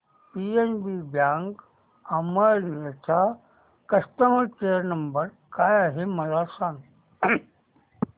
PNB bank Amalner चा customer care number काय आहे मला सांगा